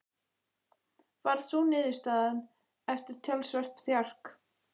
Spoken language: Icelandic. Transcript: Varð sú niðurstaðan eftir talsvert þjark.